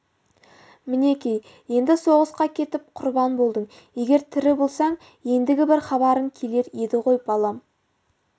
мінекей енді соғысқа кетіп құрбан болдың егер тірі болсаң ендігі бір хабарың келер еді ғой балам